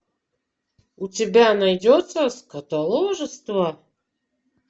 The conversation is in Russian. у тебя найдется скотоложество